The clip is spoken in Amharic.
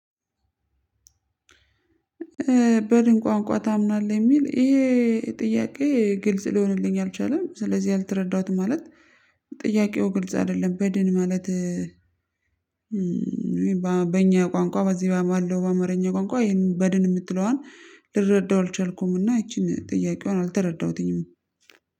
በድን ቋንቋ ታምናለህ የሚል ይሄ ጥያቄ ግልጽ ሊሆንልኝ አልቻለም ስለዚህ አልተረዳሁትም ማለት ጥያቄው ግልጽ አይደለም በድን ማለት። በእኛ ቋንቋ በዚህ ባለው በአማርኛ ቋንቋ ይሄንን በድን የምትለዋን ልረዳው አልቻልኩምና ይቺን ጥያቄዋን አልተረዳሁትኝም።